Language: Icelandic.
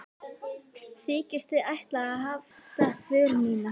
Þykist þið ætla að hefta för mína?